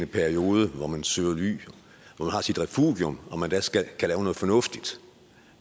periode hvor man søger ly hvor man har sit refugium kan lave noget fornuftigt